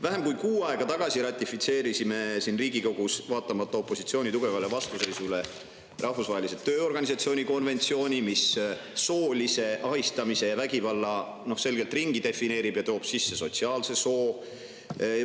Vähem kui kuu aega tagasi ratifitseerisime siin Riigikogus, vaatamata opositsiooni tugevale vastuseisule, Rahvusvahelise Tööorganisatsiooni konventsiooni, mis soolise ahistamise ja vägivalla selgelt ringi defineerib ning toob sisse sotsiaalse soo.